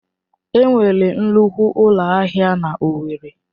Enwere nnukwu ụlọ ahịa na owerri?